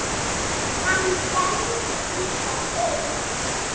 Hann stendur líka upp.